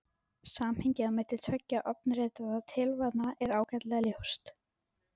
Samhengið á milli tveggja ofanritaðra tilvitnana er ágætlega ljóst.